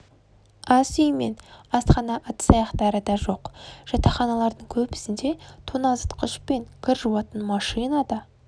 ас үй мен асхана ыдыс-аяқтары да жоқ жатақханалардың көбісінде тоңазытқыш пен кір жуатын машина да